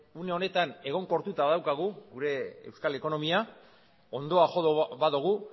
une honetan egonkortuta badaukagu gure euskal ekonomia hondoa jo badugu